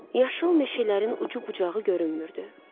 Yaşıl meşələrin ucu-bucağı görünmürdü.